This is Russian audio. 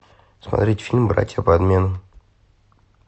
смотреть фильм братья по обмену